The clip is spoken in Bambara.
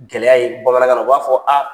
Gɛlɛya ye bamanankan na u b'a fɔ